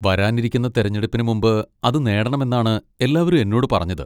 വരാനിരിക്കുന്ന തെരഞ്ഞെടുപ്പിന് മുമ്പ് അത് നേടണമെന്നാണ് എല്ലാവരും എന്നോട് പറഞ്ഞത്.